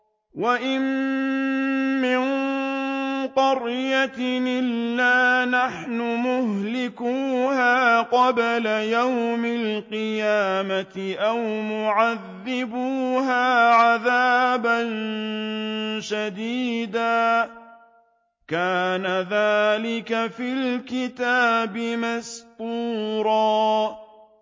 وَإِن مِّن قَرْيَةٍ إِلَّا نَحْنُ مُهْلِكُوهَا قَبْلَ يَوْمِ الْقِيَامَةِ أَوْ مُعَذِّبُوهَا عَذَابًا شَدِيدًا ۚ كَانَ ذَٰلِكَ فِي الْكِتَابِ مَسْطُورًا